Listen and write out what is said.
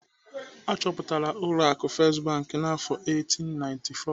Achọpụtara ụlọ akụ First Bank n'afọ 1894.